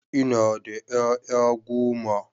Ina da ƴaƴa goma.